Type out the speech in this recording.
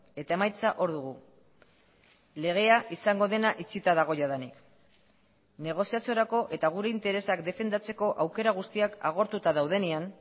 eta emaitza hor dugu legea izango dena itxita dago jadanik negoziaziorako eta gure interesak defendatzeko aukera guztiak agortuta daudenean